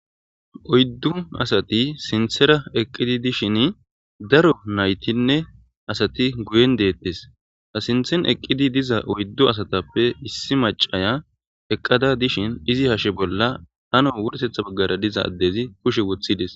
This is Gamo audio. Oyddu asati sinthera eqqidi dishin daro naytinne asati guyen deettes a sinthen eqqidi diza oyddu asatappe issi macaya eqqada dishin izi hashe bolla hano wursetha baggara diza addezi kushe wothides.